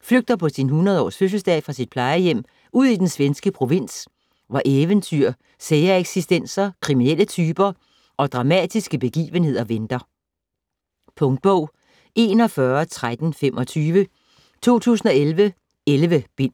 flygter på sin 100 års fødselsdag fra sit plejehjem ud i den svenske provins, hvor eventyr, sære eksistenser, kriminelle typer og dramatiske begivenheder venter. Punktbog 411325 2011. 11 bind.